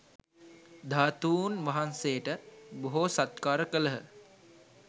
ධාතූන් වහන්සේට බොහෝ සත්කාර කළහ